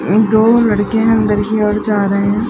दो लड़के अंदर की ओर जा रहे हैं।